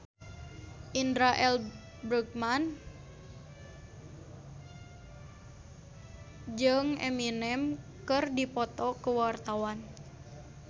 Indra L. Bruggman jeung Eminem keur dipoto ku wartawan